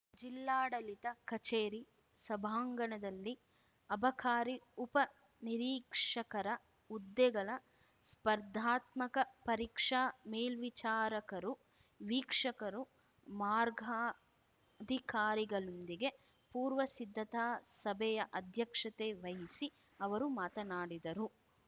ಜಿಲ್ಲಾಡಳಿತ ಕಚೇರಿ ಸಭಾಂಗಣದಲ್ಲಿ ಅಬಕಾರಿ ಉಪ ನಿರೀಕ್ಷಕರ ಹುದ್ದೆಗಳ ಸ್ಪರ್ಧಾತ್ಮಕ ಪರೀಕ್ಷಾ ಮೇಲ್ವಿಚಾರಕರು ವೀಕ್ಷಕರು ಮಾರ್ಗಾಧಿಕಾರಿಗಳೊಂದಿಗೆ ಪೂರ್ವ ಸಿದ್ಧತಾ ಸಭೆಯ ಅಧ್ಯಕ್ಷತೆ ವಹಿಸಿ ಅವರು ಮಾತನಾಡಿದರು